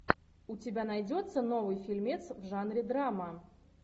у тебя найдется новый фильмец в жанре драма